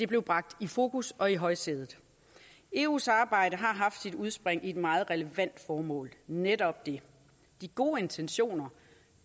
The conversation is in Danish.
blev bragt i fokus og i højsædet eus arbejde har haft sit udspring i et meget relevant formål netop det de gode intentioner